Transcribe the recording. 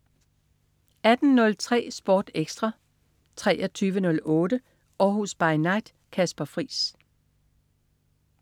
18.03 Sport Ekstra 23.08 Århus By Night. Kasper Friis